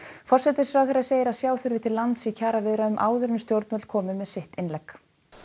forsætisráðherra segir að sjá þurfi til lands í kjaraviðræðum áður en stjórnvöld komi með sitt innlegg